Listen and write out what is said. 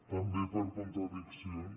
també per contradiccions